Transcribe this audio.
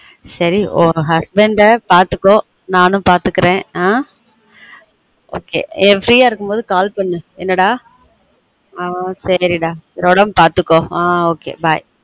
சேரி உன் husband அ பார்த்துகொ நானும் பாத்துக்கிறன் ஆஹ் free யா இருக்கும் போது call பண்ணு என்னடா ஆஹ் சேரி டா சேரி உடம்ப பார்த்துக்கொ ஆஹ் ok bye